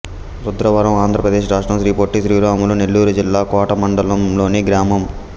రుద్రవరం ఆంధ్ర ప్రదేశ్ రాష్ట్రం శ్రీ పొట్టి శ్రీరాములు నెల్లూరు జిల్లా కోట మండలం లోని గ్రామం